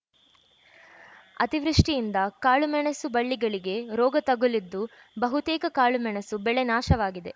ಅತಿವೃಷ್ಟಿಯಿಂದ ಕಾಳುಮೆಣಸು ಬಳ್ಳಿಗಳಿಗೆ ರೋಗ ತಗುಲಿದ್ದು ಬಹುತೇಕ ಕಾಳುಮೆಣಸು ಬೆಳೆ ನಾಶವಾಗಿದೆ